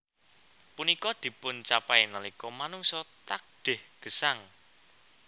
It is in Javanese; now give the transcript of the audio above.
Punika dipuncapai nalika manungsa takdih gesang